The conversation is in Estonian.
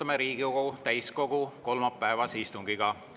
Alustame Riigikogu täiskogu kolmapäevase istungiga.